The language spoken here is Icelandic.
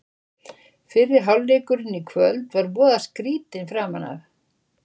Fyrri hálfleikurinn í kvöld var voða skrýtinn framan af.